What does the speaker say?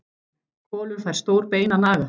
Kolur fær stórt bein að naga.